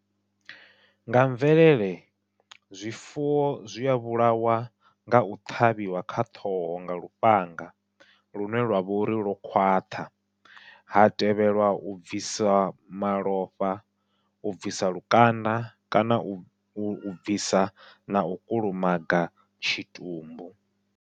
Nga mvelele zwifuwo zwia vhulawa ngau ṱhavhiwa kha ṱhoho nga lufhanga, lune lwavha uri lwo khwaṱha ha tevhelwa u bvisa malofha u bvisa lukanda kana u bvisa nau kulumaga tshitumbu.